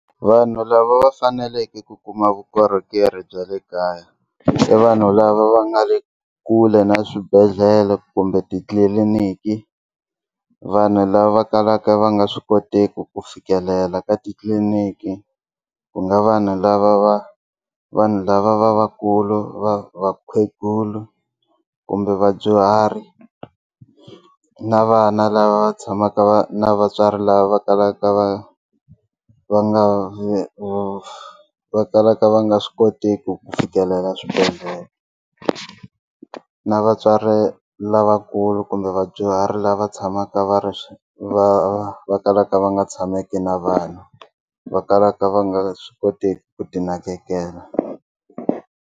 Vanhu lava va faneleke ku kuma vukorhokeri bya le kaya i vanhu lava va nga le kule na swibedhlele kumbe titliliniki vanhu lava kalaka va nga swi kotiki ku fikelela ka titliliniki ku nga vanhu lava va vanhu lava va vakulu va vakhegula kumbe vadyuhari na vana lava va tshamaka va na vatswari lava va kalaka va va nga va va va kalaka va nga swi kotiki ku fikelela swibedhlele na vatswari lavakulu kumbe vadyuhari lava tshamaka va ri va va kalaka va nga tshameki na vanhu va kalaka va nga swi koteki ku ti nakekela.